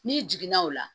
N'i jiginna o la